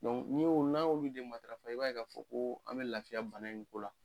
n'i y'o n'an y'olu de matarafa i b'a k'a fɔ koo an bɛ lafiya bana in ko la.